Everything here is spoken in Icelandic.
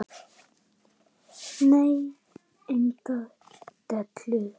Nei, engar deilur.